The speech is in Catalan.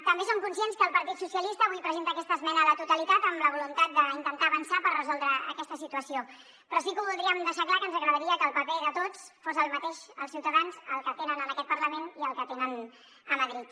també som conscients que el partit socialista avui presenta aquesta esmena a la totalitat amb la voluntat d’intentar avançar per resoldre aquesta situació però sí que voldríem deixar clar que ens agradaria que el paper de tots fos el mateix els ciutadans el que tenen en aquest parlament i el que tenen a madrid